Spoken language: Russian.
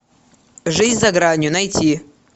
жизнь за гранью найти